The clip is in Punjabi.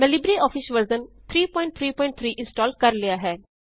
ਮੈ ਲਿਬਰੇਆਫਿਸ ਵਰਜ਼ਨ 333 ਇਂਸਟਾਲ਼ ਕਰ ਲਿਆ ਹੈ